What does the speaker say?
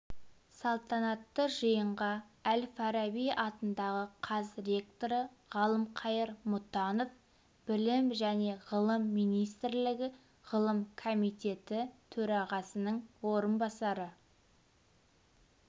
салтанатты жиынға әл-фараби атындағы қаз ректоры ғалымқайыр мұтанов білім және ғылым министрлігі ғылым комитеті төрағасының орынбасары